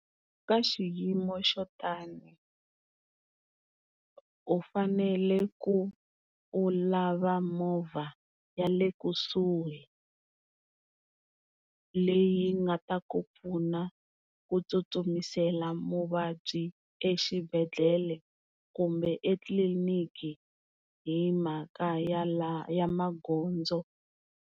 Ka xiyimo xo tani u fanele ku u lava movha ya le kusuhi leyi nga ta ku pfuna ku tsutsumisela muvabyi exibedhlele kumbe etliniki hi mhaka ya magondzo.